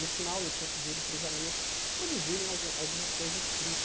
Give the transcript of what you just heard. No final, eu tinha pedido para os alunos produzirem algum alguma coisa escrita.